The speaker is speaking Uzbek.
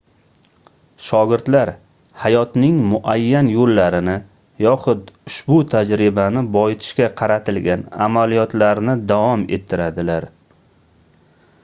shogirdlar hayotning muayyan yoʻllarini yoxud ushbu tajribani boyitishga qaratilgan amaliyotlarni davom ettiradilar